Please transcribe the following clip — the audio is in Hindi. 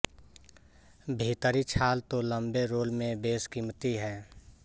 भीतरी छाल तो लंबे रोल में बेशकीमती है